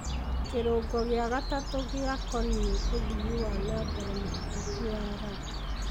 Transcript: kírũngo gìa gatatũ gìa koniì ũthii wa na mbere mũhetũku wa Ruby